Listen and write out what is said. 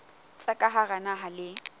tsa ka hara naha le